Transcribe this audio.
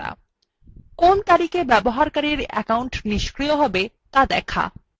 কোন তারিখে ব্যবহারকারীর অ্যাকাউন্ট নিষ্ক্রিয়হবে ত়া দেখায়